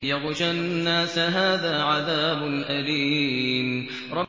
يَغْشَى النَّاسَ ۖ هَٰذَا عَذَابٌ أَلِيمٌ